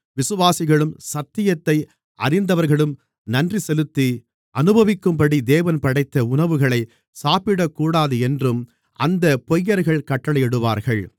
விசுவாசிகளும் சத்தியத்தை அறிந்தவர்களும் நன்றி செலுத்தி அனுபவிக்கும்படி தேவன் படைத்த உணவுகளைச் சாப்பிடக்கூடாது என்றும் அந்தப் பொய்யர்கள் கட்டளையிடுவார்கள்